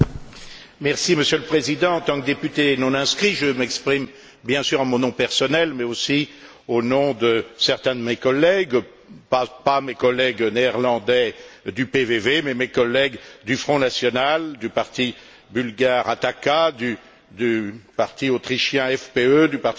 Monsieur le Président, en tant que député non inscrit, je m'exprime, bien sûr, en mon nom personnel, mais aussi au nom de certains de mes collègues, pas mes collègues néerlandais du PVV, mais mes collègues du Front national, du parti bulgare Attack, du parti autrichien FPÖ, du parti britannique